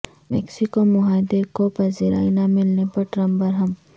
Mexico معاہدے کو پذیرائی نہ ملنے پر ٹرمپ برہم